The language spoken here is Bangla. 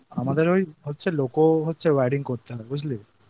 আমাদের ওই হচ্ছে Loco হচ্ছে Warning করতে হয় বুঝলি?